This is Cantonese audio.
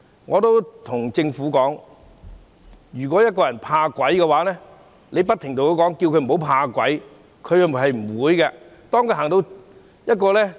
我對政府說，一個人如果怕鬼，你不停叫他不要怕鬼，他是做不到的。